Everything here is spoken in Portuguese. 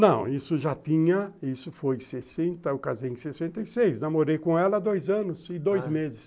Não, isso já tinha, isso foi em sessenta, eu casei em sessenta e seis, namorei com ela há dois anos e dois meses.